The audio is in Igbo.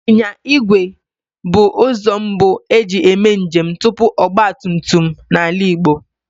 Ịnyịnya igwe bụ ụzọ mbu e ji eme njem tupu ọgbatumtum n'ala Igbo